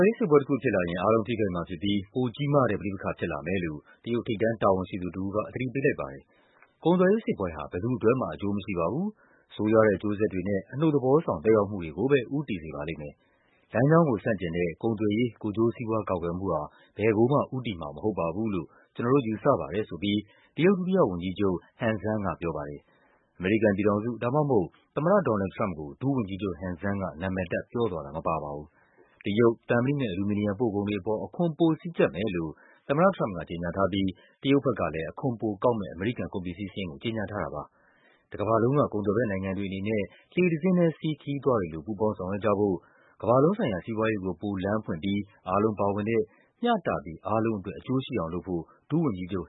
ယ်ရေးစစ်ပွဲတခုဖြစ်လာရင် အားလုံးထိခိုက်မှာဖြစ်ပြီး ပိုကြီးမားတဲ့ ပဋိပက္ခဖြစ်လာမယ်လို့ တရုတ် ထိပ်တန်း တာဝန်ရှိသူ တဦးက သတိပေးလိုက်ပါတယ်။ “ကုန်သွယ်ရေးစစ်ပွဲဟာ ဘယ်သူ့အတွက်မှ အကျိုးမရှိပါဘူး၊ ဆိုးရွားတဲ့ အကျိုးဆက်တွေနဲ့ အနုတ်သဘောဆောင် သက်ရောက် မှုတွေကိုပဲ ဦးတည်စေပါလိမ့်မယ်၊ လမ်းကြောင်းကိုဆန့်ကျင်တဲ့ ကုန်သွယ်ရေး ကိုယ်ကျိုးစီးပွားကာကွယ်မှုဟာ ဘယ်ကိုမှ ဦးတည်စေမှာ မဟုတ်ဘူးလို့ ကျနော်တို့ယူဆပါတယ်” ဆိုပြီး တရုတ် ဒုတိယဝန်ကြီးချုပ် Han Zheng ကပြောပါတယ်။ အမေရိကန်ပြည်ထောင်စု ဒါမှမဟုတ် သမ္မတ ဒေါ်နယ်လ်ဒ် ထရမ့်ပ်ကို ဒုဝန်ကြီးချုပ် Han Zheng က နာမည်တပ် ပြောသွားတာ မပါပါဘူး။ တရုတ် သံမဏိနဲ့ အလူမီနီယံ ပို့ကုန်တွေအပေါ် အခွန်ပိုစည်းကျပ်မယ်လို့ သမ္မတထရမ့်ပ်က ကြေညာထားပြီး တရုတ် ဘက်ကလည်း အခွန်ပိုကောက်မယ့် အမေရိကန် ကုန်ပစ္စည်းစာရင်းကို ကြေညာထားတာပါ။ တကမ္ဘာလုံးက ကုန်သွယ်ဘက်နိုင်ငံတွေအနေနဲ့ လှေတစင်းထဲစီး ခရီးသွားတွေလို ပူးပေါင်းဆောင်ရွက်ကြဖို့၊ ကမ္ဘာလုံးဆိုင်ရာ စီးပွားရေးကို ပိုလမ်းဖွင့်ပြီး အားလုံးပါဝင်တဲ့ မျှတပြီး အားလုံးအတွက် အကျိုးရှိအောင်လုပ်ဖို့ ဒုဝန်ကြီးချုပ်